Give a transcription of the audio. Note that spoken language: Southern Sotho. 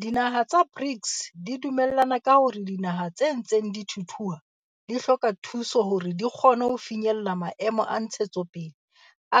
Dinaha tsa BRICS di dume llane ka hore dinaha tse ntseng di thuthuha di hloka thuso hore di kgone ho finyella Maemo a Ntshetsopele